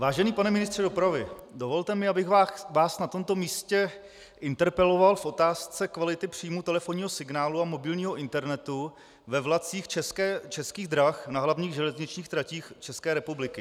Vážený pane ministře dopravy, dovolte mi, abych vás na tomto místě interpeloval v otázce kvality příjmu telefonního signálu a mobilního internetu ve vlacích Českých drah na hlavních železničních tratích České republiky.